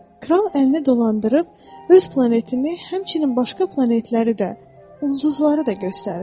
Kral əlini dolandırıb öz planetini, həmçinin başqa planetləri də, ulduzları da göstərdi.